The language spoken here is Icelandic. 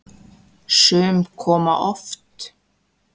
Sum koma oft.